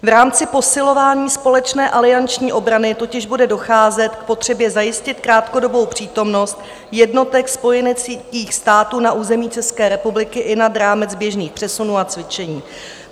V rámci posilování společné alianční obrany totiž bude docházet k potřebě zajistit krátkodobou přítomnost jednotek spojeneckých států na území České republiky i nad rámec běžných přesunů a cvičení.